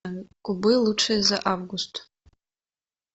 кубы лучшие за август